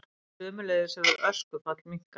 Sömuleiðis hefur öskufall minnkað